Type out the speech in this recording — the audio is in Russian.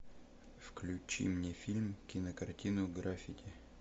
включи мне фильм кинокартину граффити